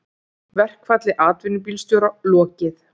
Verkfalli atvinnubílstjóra lokið